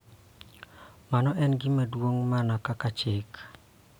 Mano en gima duong� mana kaka chike.